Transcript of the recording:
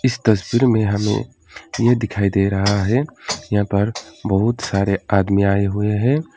इस तस्वीर में हमें ये दिखाई दे रहा है यहां पर बहुत सारे आदमी आए हुए हैं।